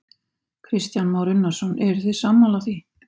Kristján Már Unnarsson: Eruð þið sammála því?